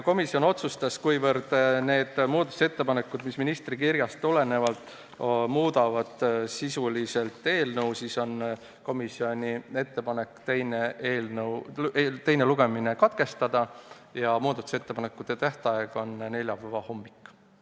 Komisjon otsustas, et kuivõrd need muudatusettepanekud, mis ministri kirjast tulenevad, muudavad eelnõu sisuliselt, siis on komisjoni ettepanek eelnõu teine lugemine katkestada ja määrata muudatusettepanekute esitamise tähtajaks neljapäeva hommik.